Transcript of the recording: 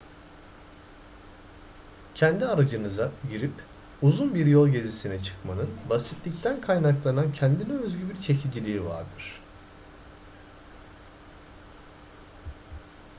kendi aracınıza girip uzun bir yol gezisine çıkmanın basitlikten kaynaklanan kendine özgü bir çekiciliği vardır